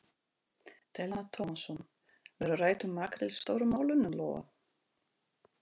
Telma Tómasson: Verður rætt um makríl Stóru málunum, Lóa?